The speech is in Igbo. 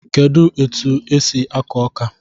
Kedụ etu e si akụ ọka?